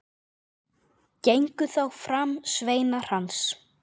Gengu þá fram sveinar hans.